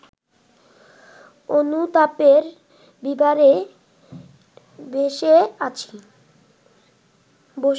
অনুতাপের বিবরে ব’সে আছি